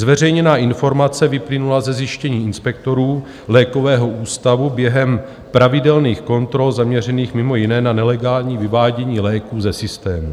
Zveřejněná informace vyplynula ze zjištění inspektorů lékového ústavu během pravidelných kontrol zaměřených mimo jiné na nelegální vyvádění léků ze systému.